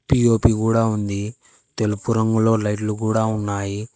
P O P గూడ ఉంది తెలుపు రంగులో లైట్లు గూడ ఉన్నాయి.